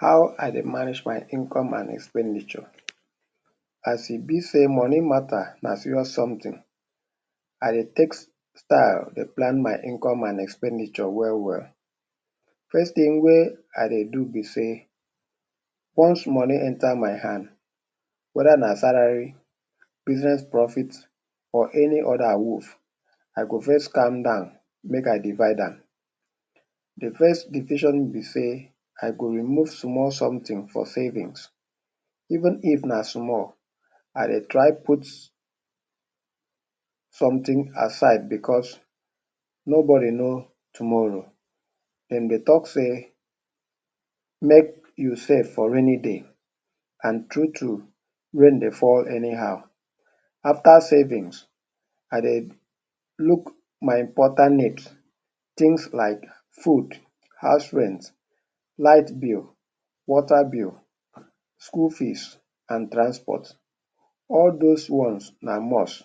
How I dey manage my income and expenditure. As e be sey money matter na serious something, I dey take style dey plan my income and expenditure well well. First thing wey I dey do be sey, once money enter my hand, whether na salary, business profit or any other awoof, I go first calm down, make I divide am. The first decision be sey, I go remove small something for savings. Even if na small, I de try put something aside because nobody know tomorrow. De dey talk sey make you safe for rainy day. And true true, rain dey fall anyhow. After savings I dey look my important need. Things like food, house rent, light bill, water bill, school fees and transport. All dos ones na must.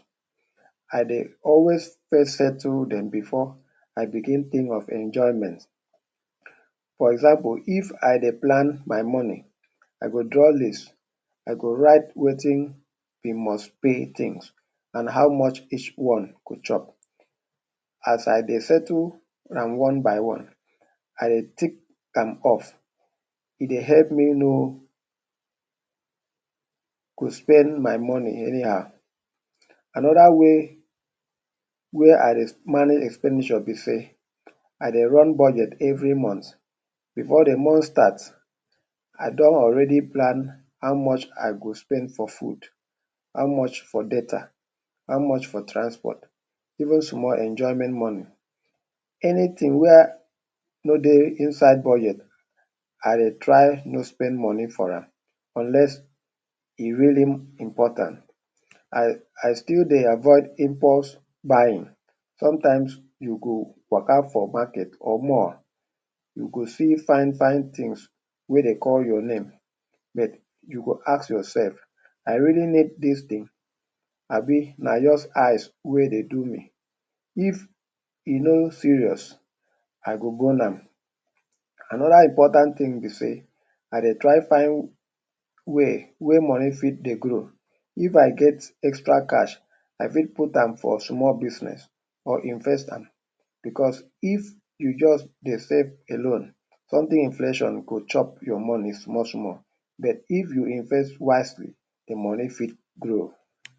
I dey always first settle dem before I begin think of enjoyment. For example, if I dey plan my money, I go draw list, I go write wetin be most pay things and how much each one go chop. As I dey settle am one by one, I dey tick am off. E dey help me know um go spend my money anyhow. Another way wey I dey manage expenditure be sey, I dey run budget every month. Before the month starts, I done already plan how much I go spend for food, how much for data, how much for transport, even small enjoyment money. Anything wey no dey inside budget I dey try no spend money for am, unless e really important. I I still dey avoid impulse buying. Sometimes you go waka for market or mall, you go see fine fine things wey dey call your name but you go ask yourself, I really need this thing abi na just eyes wey dey do me. If e no serious, I go go now. Another important thing be sey, I dey try find way wey money fit dey grow. If I get extra cash, I fit put am for small business or invest am because if you just dey save alone, something inflation go chop your money small small but if you invest wisely, the money fit grow.